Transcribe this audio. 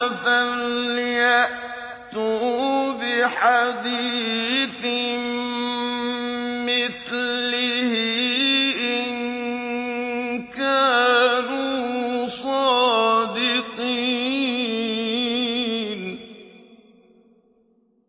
فَلْيَأْتُوا بِحَدِيثٍ مِّثْلِهِ إِن كَانُوا صَادِقِينَ